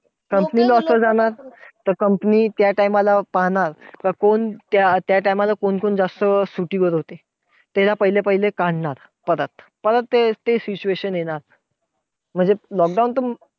Company loss वर जाणार. तर त्या time ला पाहणार, का कोण त्या time ला कोण जास्त सुट्टीवर होते. तर त्याला पहिले पहिले काढणार. परत, परत ते ते situation येणार. म्हणजे lockdown